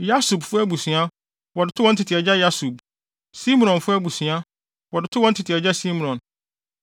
Yasubfo abusua, wɔde too wɔn tete agya Yasub; Simronfo abusua, wɔde too wɔn tete agya Simron.